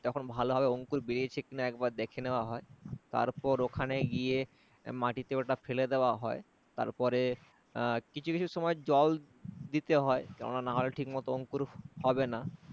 তখন ভালো ভাবে অঙ্কুর বেরিয়েছে কিনা একবার দেখে নেওয়া হয়। তারপর ওখানে গিয়ে মাটিতে ওটা ফেলে দেওয়া হয়। তারপরে কিছু কিছু সময়ে জল দিতে হয় তা না হলে ঠিক মতো অঙ্কুর হবে না